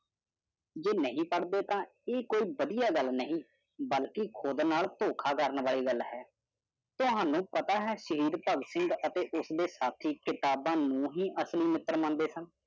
ਜੇ ਨਹੀਂ ਪੜਦੇ ਤਾ ਇਹ ਕੋਈ ਵੱਡੀਆਂ ਗੱਲ ਨਹੀਂ ਬਲਕਿ ਖੁਦ ਨਾਲ ਥੋਖਾ ਕਰਨ ਆਲੀ ਗੱਲ ਹੈ। ਤੁਹਾਨੂੰ ਪਤਾ ਹੈ ਸ਼ਹੀਦ ਭਗਤ ਸਿੰਘ ਅਤੇ ਉਸਦੇ ਸਾਥੀ ਕਿਤਾਬਾਂ ਨੂੰ ਹੀ ਅਸਲੀ ਮਿੱਤਰ ਮੰਨਦੇ ਸਨ।